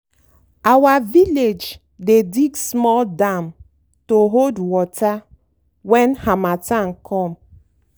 our village dey dig small dam to hold water when harmattan come.